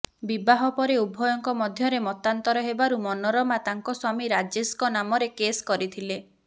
ବିବାହ ପରେ ଉଭୟଙ୍କ ମଧ୍ୟରେ ମତାନ୍ତର ହେବାରୁ ମନୋରମା ତାଙ୍କ ସ୍ୱାମୀ ରାଜେଶଙ୍କ ନାମରେ କେଶ କରିଥିଲେ